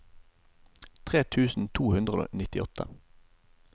tre tusen to hundre og nittiåtte